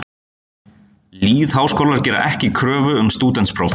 Lýðháskólar gera ekki kröfu um stúdentspróf.